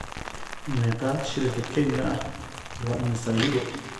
Meeqa shilinka Kenya ah waa imisa Yuuro?